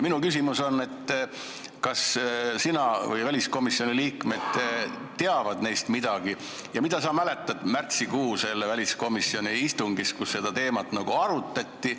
Minu küsimus on, et kas väliskomisjoni liikmed teavad neist midagi ja mida sa mäletad sellest märtsikuu väliskomisjoni istungist, kus seda teemat arutati.